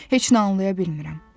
Heç nə anlaya bilmirəm.